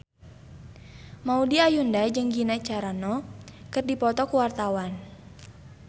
Maudy Ayunda jeung Gina Carano keur dipoto ku wartawan